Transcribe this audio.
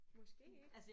Måske ikke